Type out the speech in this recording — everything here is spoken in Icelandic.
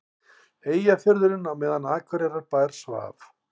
Eyjafjörðinn á meðan Akureyrarbær svaf.